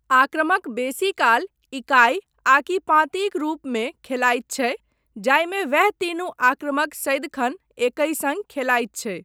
आक्रमक बेसीकाल इकाई आकि पाँतिक रूपमे खेलायत छै जाहिमे वैह तीनू आक्रमक सदिखन एकहि सङ्ग खेलायत छै।